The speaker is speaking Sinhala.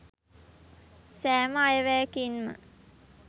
සෑම අයවැයකින්ම